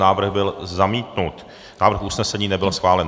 Návrh byl zamítnut, návrh usnesení nebyl schválen.